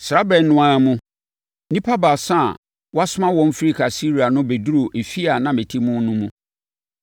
“Saa ɛberɛ no ara mu, nnipa baasa a wɔasoma wɔn firi Kaesarea no bɛduruu efie a na mete mu no mu.